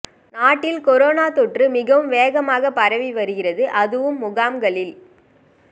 நாட்டில் கொரோனா தொற்று மிகவும் வேகமாக பரவி வருகிறது அதுவும் முகாம்களில்